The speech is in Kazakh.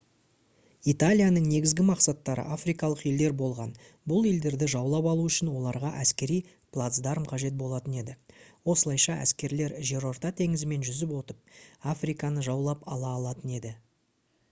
италияның негізгі мақсаттары африкалық елдер болған бұл елдерді жаулап алу үшін оларға әскери плацдарм қажет болатын еді осылайша әскерлер жерорта теңізімен жүзіп өтіп африканы жаулап ала алатын еді